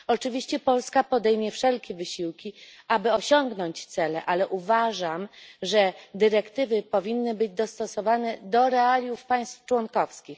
r. Oczywiście Polska podejmie wszelkie wysiłki, aby osiągnąć cele, ale uważam, że dyrektywy powinny być dostosowane do realiów państw członkowskich.